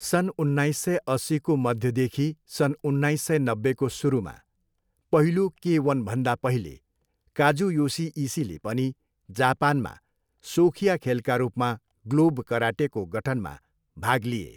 सन् उन्नाइस सय अस्सीको मध्यदेखि सन् उन्नाइस सय नब्बेको सुरुमा, पहिलो के वनभन्दा पहिले, काजुयोसी इसीले पनि जापानमा सोखिया खेलका रूपमा ग्लोभ कराटेको गठनमा भाग लिए।